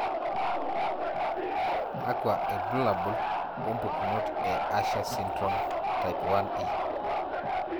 Kakwa ibulabul wompukunot e Usher syndrome, type 1E?